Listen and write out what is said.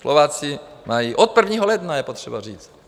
Slováci mají od 1. ledna, je potřeba říct.